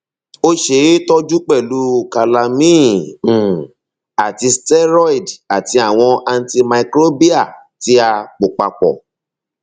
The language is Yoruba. ó ṣe é tọjú pẹlú calamine um àti steroid àti àwọn antimicrobial tí a pò papọ̀